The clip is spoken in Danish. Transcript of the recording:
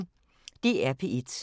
DR P1